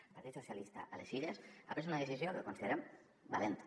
el partit socialista a les illes ha pres una decisió que considerem valenta